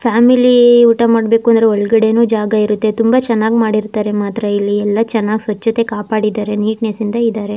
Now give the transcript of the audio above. Family ಊಟ ಮಾಡ್ಬೇಕು ಅಂದ್ರೆ ಒಳಗಾದೆನು ಜಾಗ ಇರುತ್ತೆ ತುಂಬಾ ಚೆನ್ನಾಗ್ ಮಾಡಿರ್ತಾರೆ ಮಾತ್ರೆ ಇಲ್ಲಿ. ಯಲ್ಲ ಚನ್ನಾಗಿ ಸ್ವಚ್ಛತೆ ಕಾಪಾಡಿದಾರೆ ನೀಟ್ನೆಸ್ ಇಂದ ಇದಾರೆ.